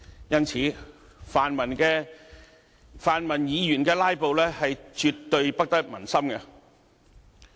因此，泛民議員的"拉布"絕對不得民心。